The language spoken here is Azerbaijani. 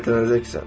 ləyətlənəcəksən.